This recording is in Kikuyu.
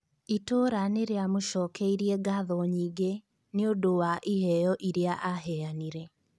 Itũra nĩrĩamũcokeirie ngatho nyingĩ nĩũndũ wa iheo iria aheanire